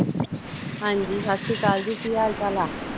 ਹਾਜੀ ਸੱਤ ਸ੍ਰੀ ਅਕਾਲ ਜੀ ਕੀ ਹਾਲ ਚਾਲ ਆ?